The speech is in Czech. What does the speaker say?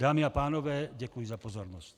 Dámy a pánové, děkuji za pozornost.